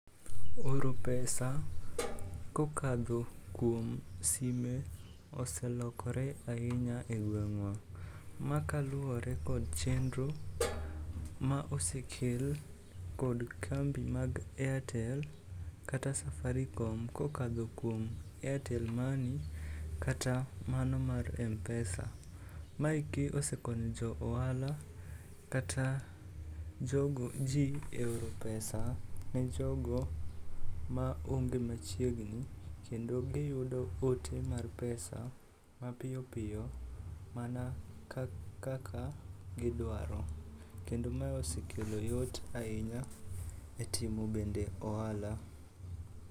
Oro pesa kokadho kuom sime oselokore ahinya e gweng'wa. Ma kaluwore kod chenro ma osekel kod kambi mag airtel kata safaricom kokadho kuom airtel money kata mano mar mpesa. Maeki osekonyo jo ohala kata ji e oro pesa ne jogo maonge machiegni kendo giyudo ote mag pesa mapiyo piyo mana kaka gidwaro kendo ma osekelo yot ahinya e timo bende ohala.